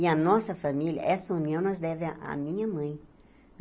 E a nossa família, essa união nós deve à minha mãe.